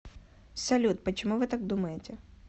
салют почему вы так думаете